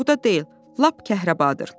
Buğda deyil, lap kəhrabadır.